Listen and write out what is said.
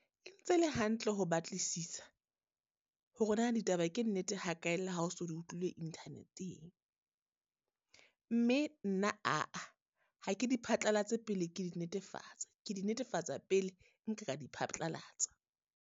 E ntse e le hantle ho batlisisa hore na ditaba ke nnete ha kae le ha o so di utlwile internet-eng. Mme nna ha ke di phatlalatsa pele ke di netefatsa, ke di netefatsa pele nka ka di phatlalatsa.